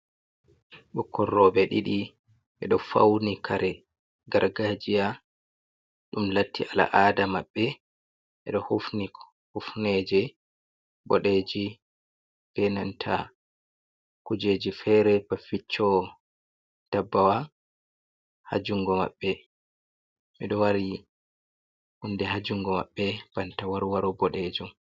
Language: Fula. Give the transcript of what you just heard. Ɓokkoi robe ɗiɗi, ɓedo fauni kare gargajiya dum latti al’ada maɓɓe, ɓedo hufni hufneje bodeji be nanta kujeji fere ba vicco dabbawa ha jungo maɓɓe, ɓeɗo wari hunɗe ha jungo mabɓe banta warwaro boɗejom.